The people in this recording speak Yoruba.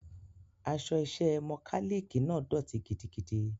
Aṣọ iṣẹ́ mọkálíìkì náà dọ̀tí gidigidi.